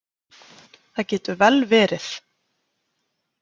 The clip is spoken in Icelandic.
Það getur vel verið.